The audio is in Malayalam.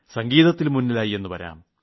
സംഗീതത്തിൽ മുന്നിലായി എന്ന് വരാം